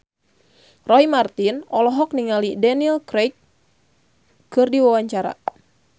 Roy Marten olohok ningali Daniel Craig keur diwawancara